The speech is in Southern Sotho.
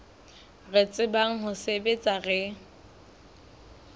re tsebang ho sebetsa re